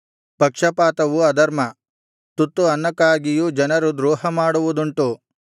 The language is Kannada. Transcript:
ಪಕ್ಷಪಾತವು ಅಧರ್ಮ ತುತ್ತು ಅನ್ನಕ್ಕಾಗಿಯೂ ಜನರು ದ್ರೋಹಮಾಡುವುದುಂಟು